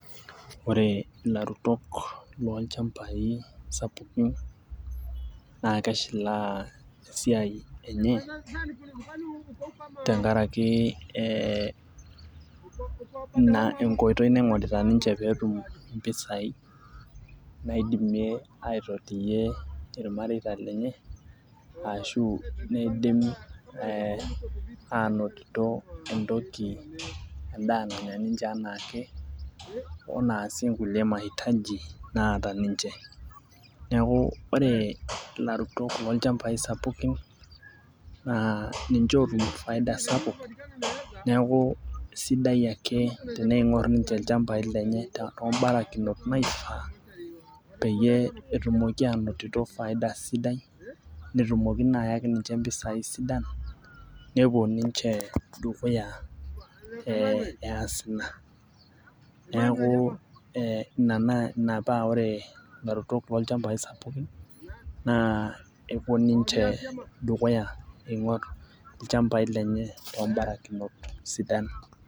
ore ilarutok loolchampai sapukin naa keshilaa esiai enye tenkaraki, ee ina enkoitoi naing'orita ninche pee etum impisai naidimie aitotiyie ilmareita lenye ashu neidim aanotito entoki edaa nanya ninche anaake. wenaasie kulie maitaji naata ninche. neku ore ilarutok loolchampai kutiti ninche ootum faida sapuk. neeku sidai ake teneing'or ninche ilchampai lenye too barakinot naishaa. peyie etumoki aanotito faida sidai, netumoki naa aanotito mpisai sidan. nepuo ninche dukuya ee esa ina. neeku ina paa ore ilarutok loolchampai spukin naa kepuo ninche dukuya ing'or ilchampai lenye too barakinot sidan.